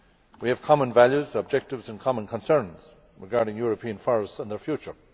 We have common values, objectives and common concerns regarding European forests and their future.